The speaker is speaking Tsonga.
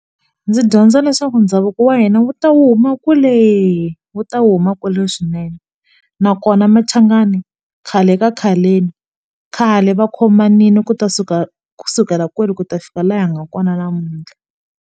Ndzi dyondza leswaku ndhavuko wa hina wu ta wu kuma kwele wu ta wu huma kwale swinene nakona Machangani khale ka khaleni khale va khomanile ku ta suka ku sukela kwale ku ta fika laha nga kona namuntlha.